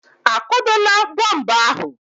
A kwadola bọmbụ ahụ?